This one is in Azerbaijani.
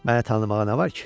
Məni tanımağa nə var ki?